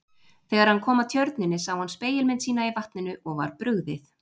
Þegar hann kom að tjörninni sá hann spegilmynd sína í vatninu og var brugðið.